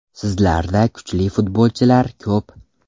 Sizlarda kuchli futbolchilar ko‘p.